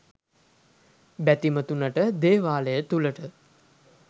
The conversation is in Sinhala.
බැතිමතුනට දේවාලය තුළට